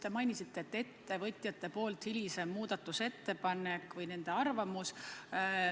Te mainisite ettevõtjate esitatud hilisemat muudatusettepanekut või nende arvamust.